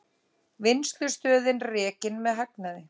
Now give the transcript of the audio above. Vinnslustöðin rekin með hagnaði